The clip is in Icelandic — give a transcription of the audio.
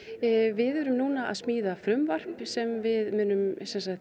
við erum að smíða frumvarp sem við munum